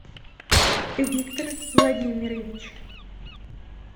виктор владимирович